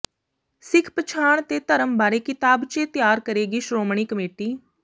ਸਿੱਖ ਪਛਾਣ ਤੇ ਧਰਮ ਬਾਰੇ ਕਿਤਾਬਚੇ ਤਿਆਰ ਕਰੇਗੀ ਸ਼੍ਰੋਮਣੀ ਕਮੇਟੀ